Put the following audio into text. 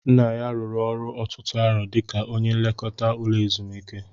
Nna ya rụrụ ọrụ ọtụtụ arọ dika ónyé nlekọta ụlọ ezumiike